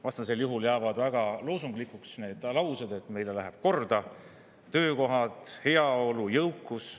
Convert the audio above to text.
Vastasel juhul jäävad väga loosunglikuks need laused, et meile lähevad korda töökohad, heaolu, jõukus.